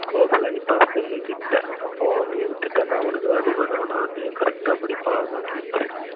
close ல நிப்பாங்க stumb கிட்ட அப்போ நீ விட்டுட்டேனா அவனுக்கு தான் அடிபடும். ஆனா, அத correct ஆஹ் புடிப்பான் அதான் keeper